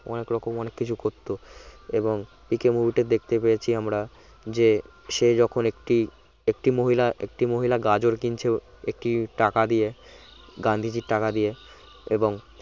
অনেক রকম অনেক কিছু করত এবং পিকে movie টা দেখতে পেয়েছি আমরা যে সে যখন একটি একটি মহিলা একটি মহিলা গাজর কিনছে একটি টাকা দিয়ে গান্ধীজীর টাকা দিয়ে এবং